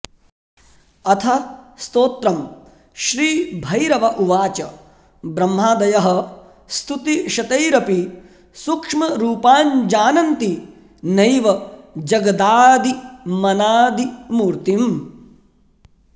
अथ स्तोत्रम् श्रीभैरव उवाच ब्रह्मादयः स्तुतिशतैरपि सूक्ष्मरूपाञ्जानन्ति नैव जगदादिमनादिमूर्त्तिम्